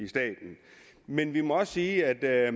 staten men vi må også sige at